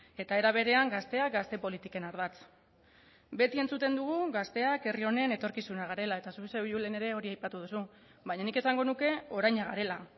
eta era berean gazteak gazte politiken ardatz beti entzuten dugu gazteak herri honen etorkizuna garela eta zu zeuk julen ere hori aipatu duzu baina nik esango nuke oraina garela